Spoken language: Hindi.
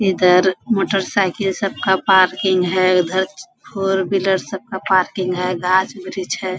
इधर मोटरसाइकिल सब का पार्किंग है | उधर फोर व्हीलर सब का पार्किंग है | गाछ वृक्ष है |